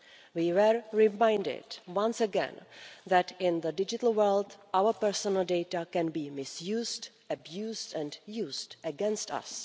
We were reminded once again that in the digital world our personal data can be misused, abused and used against us.